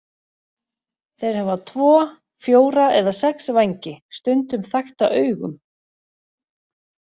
Þeir hafa tvo, fjóra eða sex vængi, stundum þakta augum.